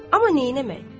Amma neynəmək?